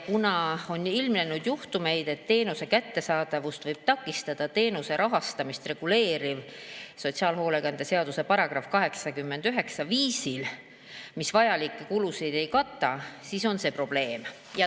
Kuna on ilmnenud juhtumeid, et teenuse kättesaadavust võib takistada teenuse rahastamist reguleeriv sotsiaalhoolekande seaduse § 89 viisil, et vajalikke kulusid ei kaeta, siis on see probleem.